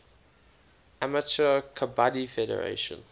amateur kabaddi federation